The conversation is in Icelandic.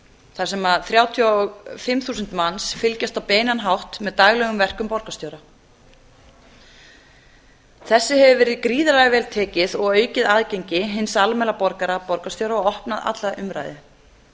þar sem þrjátíu og fimm þúsund manns fylgjast á beinan hátt með daglegum verkum borgarstjóra þessu hefur verið gríðarlega vel tekið og aukið aðgengi hins almenna borgara að borgarstjóra og opnað alla umræðu